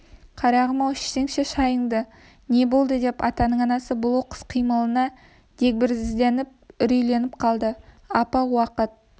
қарағым-ау ішсеңші шайыңды не болды деп атаның анасы бұл оқыс қимылына дегбірсізденіп үрейленіп қалды апа уақыт